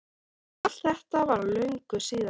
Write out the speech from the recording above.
En allt þetta var löngu síðar.